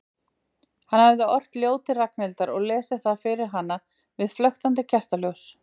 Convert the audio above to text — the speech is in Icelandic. Hann hafði ort ljóð til Ragnhildar og lesið það fyrir hana við flöktandi kertaljós.